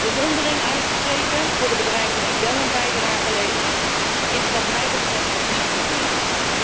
Bewondering uitspreken voor de bedrijven die wel een bijdrage leveren, is, wat mij betreft, niet voldoende.